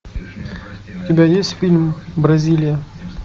у тебя есть фильм бразилия